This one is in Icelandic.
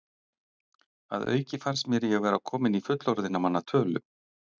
Að auki fannst mér ég vera kominn í fullorðinna manna tölu.